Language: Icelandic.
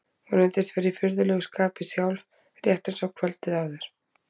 Hún reyndist vera í furðulegu skapi sjálf, rétt eins og kvöldið áður.